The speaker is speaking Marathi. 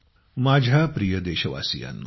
माझ्या प्रिय देशवासियांनो